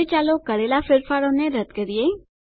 હવે ચાલો કરેલાં ફેરફારોને રદ્દ કરીએ